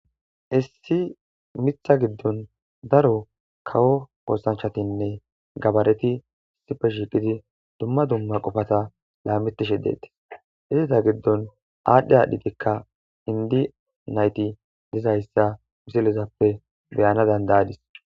Issi mitha giddon daro kawo ossanchatinne gabareti isipe shiiqidi dumma dumma qofata laamitishe deetis izita giddon aadhdhe aadhdhitikka indi nayti dizayssa misilezappe beyana dandayadis